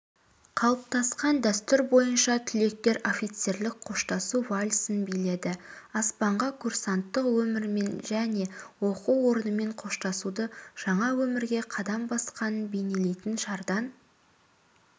қалыптасқан дәстүр бойынша түлектер офицерлік қоштасу вальсін биледі аспанға курсанттық өмірмен және оқу орнымен қоштасуды жаңа өмірге қадам басқанын бейнелейтін шардан